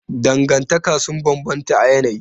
Dangantaka sun bambanta a yanayi.